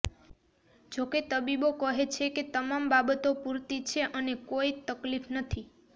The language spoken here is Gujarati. જો કે તબીબો કહે છે કે તમામ બાબતો પુરતી છે અને કોઇ તકલીફ નથી